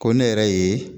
Ko ne yɛrɛ ye